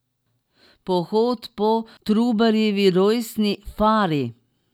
Pohod po Trubarjevi rojstni fari.